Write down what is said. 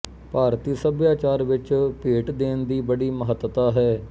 ਭਾਰਤੀ ਸਭਿਆਚਾਰ ਵਿੱਚ ਭੇਟ ਦੇਣ ਦੀ ਬੜੀ ਮਹੱਤਤਾ ਹੈ